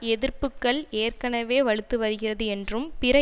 எதிர்ப்புக்கள் ஏற்கனவே வலுத்து வருகிறது என்றும் பிற